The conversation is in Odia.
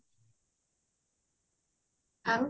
ଆଉ